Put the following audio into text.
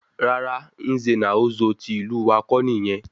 Rara, Nze na Ozo tí ìlú wá kọ́ nìyẹn